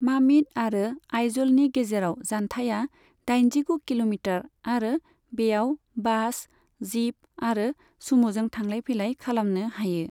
मामित आरो आइज'लनि गेजेराव जानथायआ दाइनजिगु किल'मिटार आरो बेयाव बास, जिप आरो सुम'जों थांलाय फैलाय खालामनो हायो।